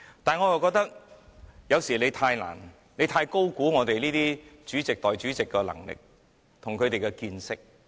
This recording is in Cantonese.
但是，我覺得他是否太高估我們主席和代理主席的能力及見識？